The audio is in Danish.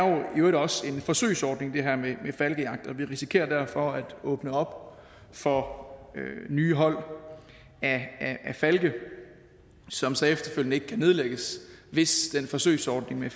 i øvrigt også en forsøgsordning og vi risikerer derfor at åbne op for nye hold af falke som så efterfølgende ikke kan nedlægges hvis den forsøgsordning med